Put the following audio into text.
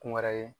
Kun wɛrɛ ye